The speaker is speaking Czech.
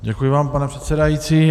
Děkuji vám, pane předsedající.